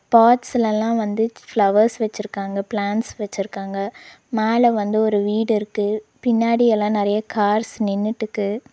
பாட்ஸ்ல எல்லா வந்து ஃப்ளவர்ஸ் வெச்சிருக்காங்க பிளாண்ட்ஸ் வெச்சிருக்காங்க மேல வந்து ஒரு வீடு இருக்கு பின்னாடி எல்லா நெறைய கார்ஸ் நின்னுட்டுக்கு.